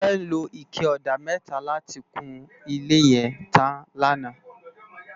Tope ló iké òdá mètá làtí kún ilé yèn tán làná